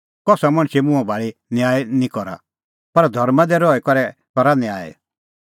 कसा मणछे मुंहां भाल़ी न्याय निं करा पर धर्मां दी रही करै करा न्याय